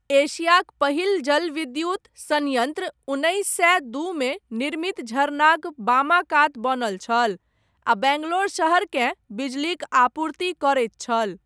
एशियाक पहिल जलविद्युत सन्यन्त्र, उन्नैस सए दूमे निर्मित झरनाक बामा कात बनल छल, आ बङ्गलोर शहरकेँ, बिजलीक आपूर्ति करैत छल।